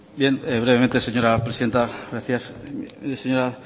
bien brevemente señora presidenta gracias mire señora